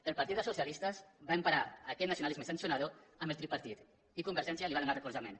el partit dels socialistes va emparar aquest nacionalisme sancionador amb el tripartit i convergència li va donar recolzament